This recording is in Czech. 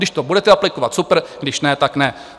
Když to budete aplikovat, supr, když ne, tak ne.